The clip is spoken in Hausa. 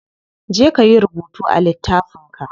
Je kayi rubutu a littafin ka.